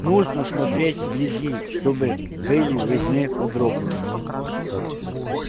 нужно смотреть вблизи чтобы были видны подробности